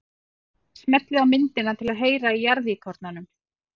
Smellið á myndina til að heyra í jarðíkornanum.